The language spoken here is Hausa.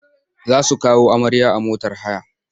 Za su kawo amarya a motar haya.